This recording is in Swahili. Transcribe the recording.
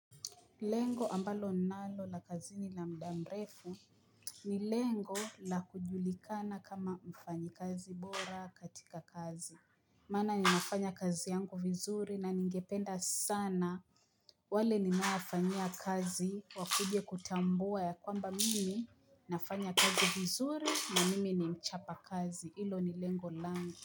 Lengo ambalo ninalo la kazini la muda mrefu ni lengo la kujulikana kama mfanyikazi bora katika kazi Maana ninafanya kazi yangu vizuri na ningependa sana wale ninaofanyia kazi wakuje kutambua ya kwamba mimi nafanya kazi vizuri na mimi ni mchapakazi hilo ni lengo langu.